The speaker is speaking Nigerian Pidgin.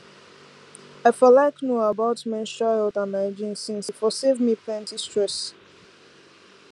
i for like know about menstrual health and hygiene since e for save me plenty stress